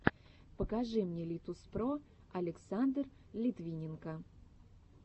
покажи мне литуспро александр литвиненко